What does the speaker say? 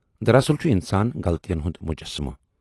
دراصل چھُ اِنسان غلطین ہُند مجسمہٕ۔